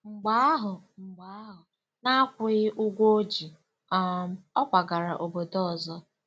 Mgbe ahụ, Mgbe ahụ, n'akwụghị ụgwọ o ji um, ọ kwagara obodo ọzọ.